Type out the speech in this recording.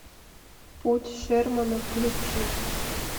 путь шермана включи